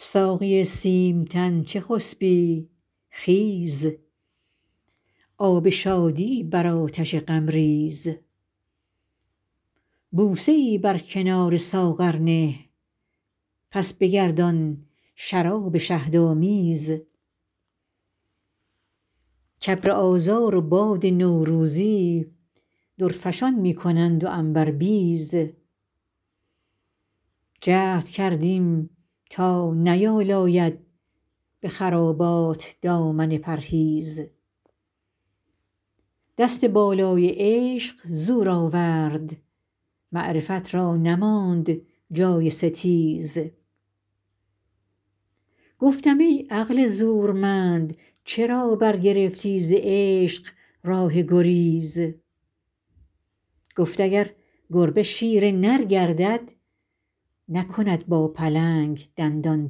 ساقی سیم تن چه خسبی خیز آب شادی بر آتش غم ریز بوسه ای بر کنار ساغر نه پس بگردان شراب شهدآمیز کابر آذار و باد نوروزی درفشان می کنند و عنبربیز جهد کردیم تا نیالاید به خرابات دامن پرهیز دست بالای عشق زور آورد معرفت را نماند جای ستیز گفتم ای عقل زورمند چرا برگرفتی ز عشق راه گریز گفت اگر گربه شیر نر گردد نکند با پلنگ دندان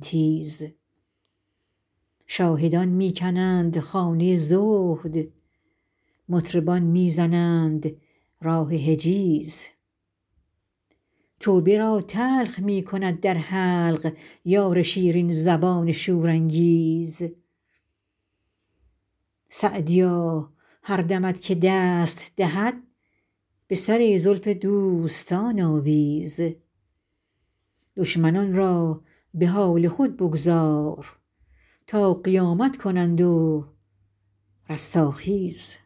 تیز شاهدان می کنند خانه زهد مطربان می زنند راه حجیز توبه را تلخ می کند در حلق یار شیرین زبان شورانگیز سعدیا هر دمت که دست دهد به سر زلف دوستان آویز دشمنان را به حال خود بگذار تا قیامت کنند و رستاخیز